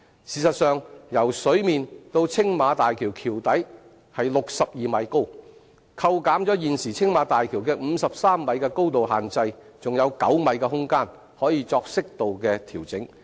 事實上，由水面至青馬大橋橋底的高度為62米，扣減現時青馬大橋的53米高度限制，還有9米的空間可作適度調整。